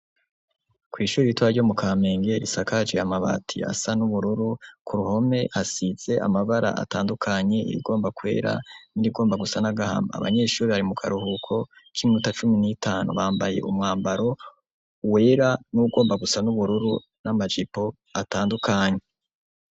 Kw'ishure ritoya ryo mu Kamenge risakajwe amabati asa n'ubururu, ku ruhome hasize amabara atandukanye irigomba kwera n'irigomba gusa n'agahama abanyeshure bari mu karuhuko k'iminota cumi n'itanu bambaye umwambaro wera n'uwugomba gusa n'ubururu, n'amajipo atandukanye.